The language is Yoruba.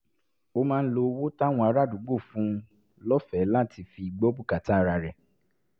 ó máa ń lo owó táwọn ará àdúgbò ń fún un lọ́fẹ̀ẹ́ láti fi gbọ́ bùkátà ara rẹ̀